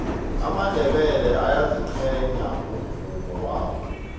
amandebele ayaziqhenya ngomvumo wabo